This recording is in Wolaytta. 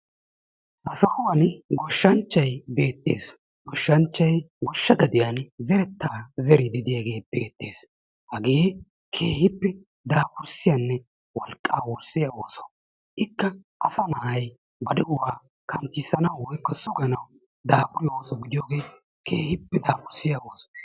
Ha sohuwan goshshanchchay beettees. Goshshanchchay goshsha gadiyan zerettaa zeriidi de'iyagee beettees. Hagee keehippe daafurssiyanne wolqqaa wurssiya ooso. Ikka asa na'ay ba de'uwa kanttissanawu woyikko suganawu daafuriyo ooso gidiyogee keehippe daafurssiya ooso.